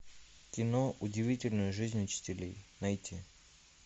кино удивительная жизнь учителей найти